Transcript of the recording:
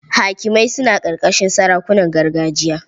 Hakimai suna ƙarƙashin sarakunan gargajiya.